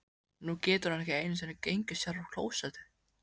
Nú getur hún ekki einu sinni gengið sjálf á klósettið.